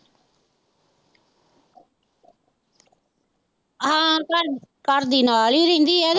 ਹਾਂ ਘਰ, ਘਰਦੀ ਨਾਲ ਹੀ ਰਹਿੰਦੀ ਐ ਉਹਦੇ।